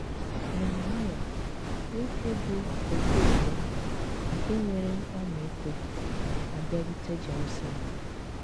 Nehemaịa — nwoke bụ́ ekwu eme, nke nwere ọmịiko — abịarute Jeruselem